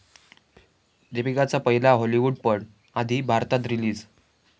दीपिकाचा पहिला हाॅलिवूडपट आधी भारतात रिलीज